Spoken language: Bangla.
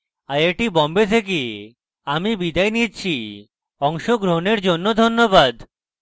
আই আই টী বোম্বে থেকে আমি বিদায় নিচ্ছি অংশগ্রহনের জন্য ধন্যবাদ